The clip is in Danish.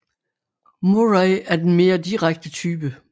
Murray er den mere direkte type